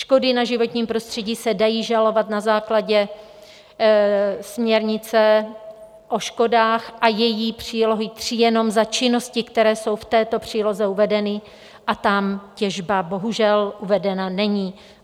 Škody na životním prostředí se dají žalovat na základě směrnice o škodách a její přílohy III jenom za činnosti, které jsou v této příloze uvedeny, a tam těžba bohužel uvedena není.